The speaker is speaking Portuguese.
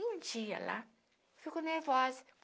Um dia lá, eu fico nervosa.